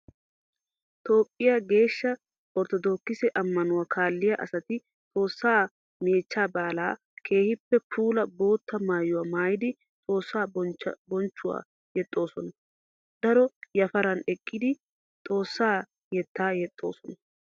Toophphiyaa geeshsha orttodookkisse amanuwa kaalliya asati Xoosaa meechcha baallan keehippe puula bootta maayuwa maayiddi Xoossa bonchchuwawu yexxosonna. Daro yafaran eqqiddi xoossa yetta yexxosonna.